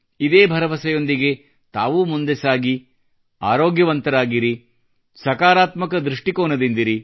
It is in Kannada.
ಇದೇ ಭರವಸೆಯೊಂದಿಗೆ ತಾವೂ ಮುಂದೆ ಸಾಗಿ ಆರೋಗ್ಯವಂತರಾಗಿರಿ ಧನಾತ್ಮಕ ದೃಷ್ಟಿಕೋನದಿಂದಿರಿ